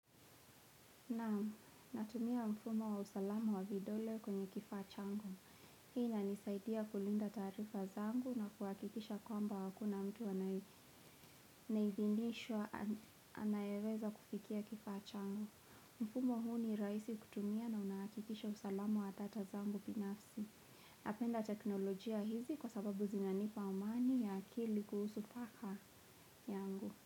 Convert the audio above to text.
Naamu, natumia mfumo wa usalamu wa vidole kwenye kifaa changu. Hii inanisaidia kulinda taarifa zangu na kuhakikisha kwamba hakuna mtu anayeidhinishwa anayeweza kufikia kifaa changu. Mfumo huu ni rahisi kutumia na unakikisha usalamu wa data zangu binafsi. Napenda teknolojia hizi kwa sababu zinanipa amani ya akili kuhusu paka yangu.